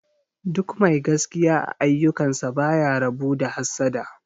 Duk mai gaskiya a aiyukan sa baya rabu da mahassada